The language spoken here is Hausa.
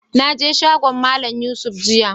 Na je shagon Mallam Yusuf jiya.